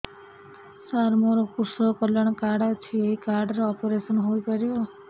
ସାର ମୋର କୃଷକ କଲ୍ୟାଣ କାର୍ଡ ଅଛି ଏହି କାର୍ଡ ରେ ଅପେରସନ ହେଇପାରିବ